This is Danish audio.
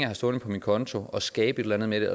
har stående på min konto og skabe et eller andet med